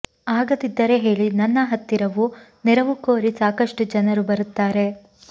ಆಗದಿದ್ದರೆ ಹೇಳಿ ನನ್ನ ಹತ್ತಿರವೂ ನೆರವು ಕೋರಿ ಸಾಕಷ್ಟು ಜನರು ಬರುತ್ತಾರೆ